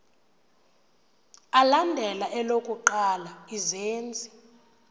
alandela elokuqala izenzi